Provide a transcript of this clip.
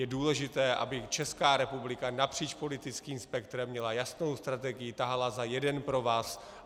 Je důležité, aby Česká republika napříč politickým spektrem měla jasnou strategii, tahala za jeden provaz.